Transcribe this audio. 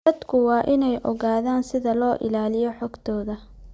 Dadku waa inay ogaadaan sida loo ilaaliyo xogtooda.